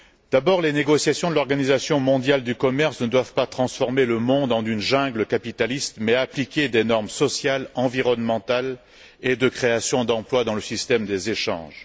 D'abord, les négociations de l'Organisation mondiale du commerce ne doivent pas transformer le monde en une jungle capitaliste mais appliquer des normes sociales, environnementales et de création d'emplois dans le système des échanges.